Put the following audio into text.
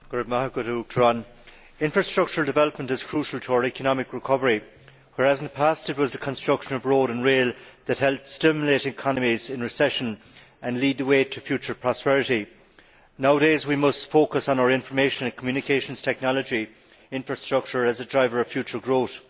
Madam President, infrastructural development is crucial to our economic recovery. Whereas in the past it was the construction of road and rail that helped stimulate economies in recession and lead the way to future prosperity, nowadays we must focus on our information and communications technology infrastructure as a driver of future growth.